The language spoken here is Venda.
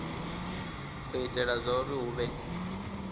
u itela zwauri hu vhe